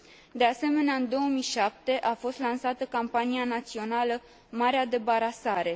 De asemenea, în 2007 a fost lansată campania națională Marea debarasare.